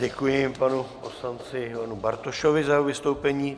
Děkuji panu poslanci Ivanu Bartošovi za jeho vystoupení.